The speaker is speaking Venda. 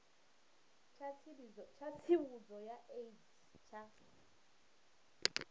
tsha tsivhudzo ya aids tsha